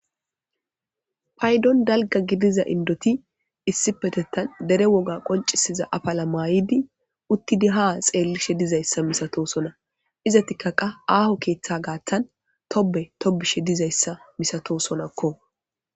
Paydon dalgga gidiza indoti issipetettan dere woga qoncisiza afala maayidi uttidi ha xeellishe dizayssa misatosona izatikka qa aaho keeththa gaattan tobbe toobishe dizayssa misatosonnakko